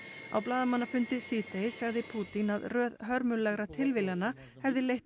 á blaðamannafundi síðdegis sagði Pútín að röð hörmulegra tilviljana hefði leitt